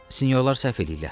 Sinyorlar səhv eləyirlər.